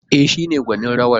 E, shi ne gwanin rawar.